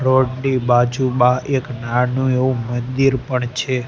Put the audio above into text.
Road ની બાજુમાં એક નાનું એવું મંદિર પણ છે.